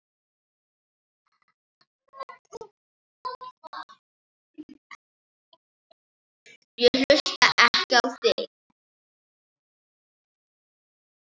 Ég hlusta ekki á þig.